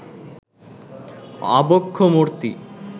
আবক্ষ মূর্তি